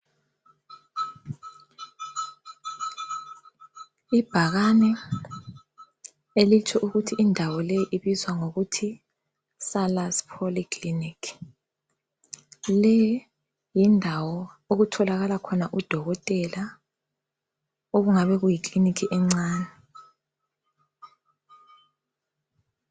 Ibhakane elithi ukuthi indawo leyi ibizwa ngokuthi Salus polyclinic. Leyi yindawo okutholakala khona udokotela okungabe kuyikilinika encane.